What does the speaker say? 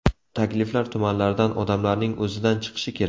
Takliflar tumanlardan, odamlarning o‘zidan chiqishi kerak.